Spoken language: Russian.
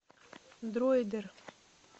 дроидер